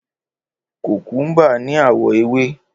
Kòkúḿbà ní àwọ̀ ewé.